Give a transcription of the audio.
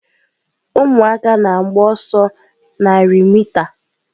Ụmụaka na-agba ọsọ narị mita.